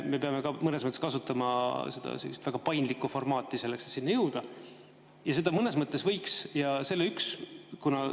Me peame mõnes mõttes kasutama sellist väga paindlikku formaati selleks, et sinnani jõuda.